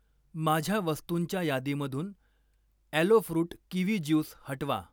माझ्या वस्तुंच्या यादीमधून ॲलो फ्रुट किवी ज्यूस हटवा.